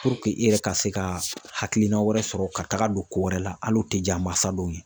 Puruke i yɛrɛ ka se ka hakilina wɛrɛ sɔrɔ ka taaga don ko wɛrɛ la hali u tɛ diya mansa dɔw ye.